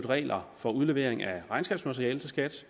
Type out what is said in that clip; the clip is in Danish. reglerne for udlevering af regnskabsmateriale til skat